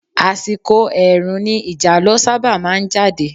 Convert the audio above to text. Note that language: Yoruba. Àsìkò ẹ̀ẹ̀rùn ni ìjàlọ sábà máa jáde.